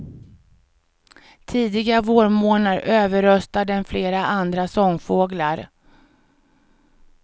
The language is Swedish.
Tidiga vårmornar överröstar den flera andra sångfåglar.